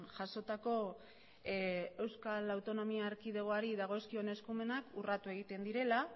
jasotako euskal autonomia erkidegoari dagozkion eskumenak urratu egiten direla